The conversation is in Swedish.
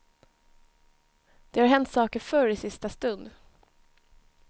Det har hänt saker förr, i sista stund.